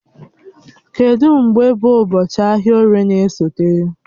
Kedụ mgbe bụ ụbọchị ahịa oririe na-esote?